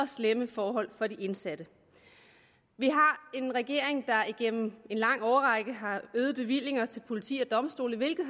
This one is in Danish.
slemme forhold for de indsatte vi har en regering der gennem en lang årrække har øget bevillinger til politi og domstole hvilket